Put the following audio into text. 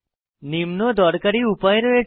নিম্ন দরকারী উপায় রয়েছে